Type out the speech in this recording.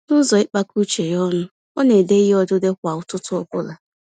Nụzọ ịkpakọ uche ya ọnụ, ọ n'édè ìhè odide kwá ụtụtụ ọbula.